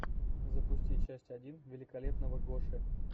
запусти часть один великолепного гоши